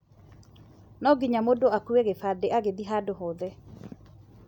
Nonginya mũndũ akue gĩbandĩ agĩthiĩ handũ hothe.